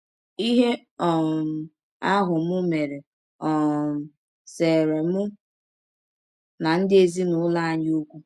Ihe um ahụ m mere um seere mụ na ndị ezinụlọ anyị ọkwụ.